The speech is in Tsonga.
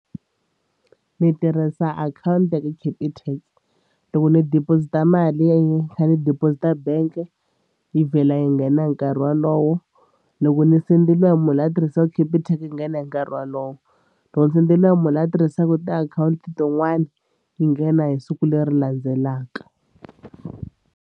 Ni tirhisa akhawunti ya ka Capitec loko ndzi deposit-a mali ni kha ni deposit-a bank yi vhela yi nghena hi nkarhi wolowo. Loko ni sendeliwa hi munhu loyi a tirhisaka Capitec yi nghena hi nkarhi wolowo. Loko ni sendeliwa hi munhu loyi a tirhisaka tiakhawunti tin'wani yi nghena hi siku leri landzelaka.